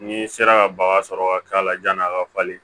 N'i sera ka baga sɔrɔ ka k'a la ɲani a ka falen